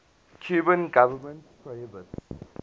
cuban government prohibits